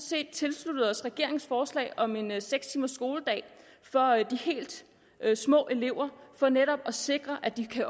set tilsluttet os regeringens forslag om en seks timers skoledag for de helt små elever for netop at sikre at de kan